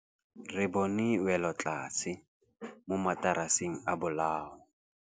Re bone wêlôtlasê mo mataraseng a bolaô.